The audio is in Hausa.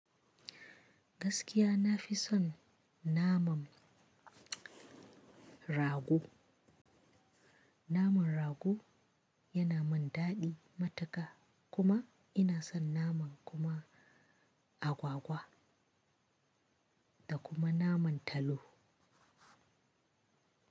Gaskiya nafi son naman rago. Namar rago yana min daɗi matuka kuma ina son naman kuma agwagwa da kuma naman talo.